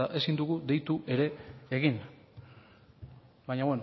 ezta ezin dugu deitu ere egin baina